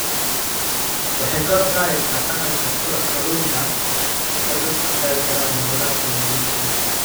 Waxay kor u qaadaysaa dhaqanka kulanka marka dadku ka qaybqaataan hawlaha kalluumaysiga.